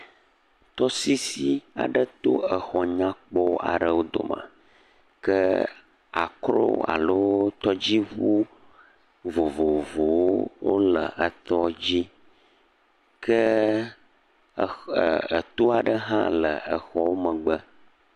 tɔsisi aɖe to exɔ nyakpɔ aɖewo dome ke akro alo tɔdziʋu vovovowo wóle etɔdzi ke etó aɖe hã le exɔa megbe